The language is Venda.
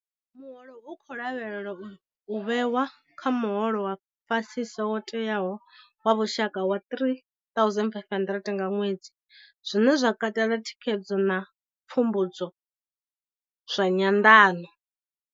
Muholo u khou lavhelelwa u vhewa kha muholo wa fhasisa wo tewaho wa lushaka wa R3 500 nga ṅwedzi, zwine zwa katela thikhedzo na pfumbudzo zwa nyanḓano.